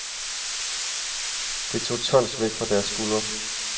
Det tog tons væk fra deres skuldre.